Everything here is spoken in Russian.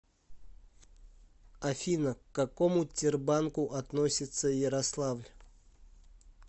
афина к какому тербанку относится ярославль